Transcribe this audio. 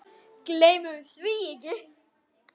Gleymum því ekki.